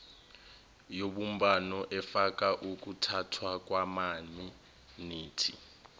yobumbano efaka ukuthathwakwamaminithi